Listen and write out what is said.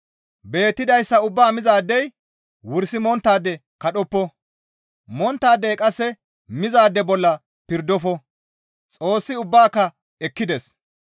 Beettidayssa ubbaa mizaadey wursi monttaade kadhoppa; monttaadey qasse mizaade bolla pirdofo; Xoossi ubbaaka ekkides.